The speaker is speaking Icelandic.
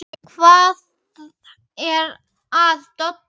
Hvað er að Dodda?